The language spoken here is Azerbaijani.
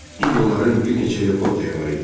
İndi onların bir neçə helikopteri var idi.